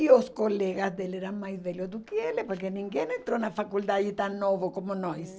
E os colegas dele eram mais velhos do que ele, porque ninguém entrou na faculdade tão novo como nós.